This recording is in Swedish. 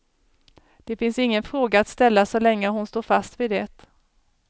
Det finns ingen fråga att ställa så länge hon står fast vid det.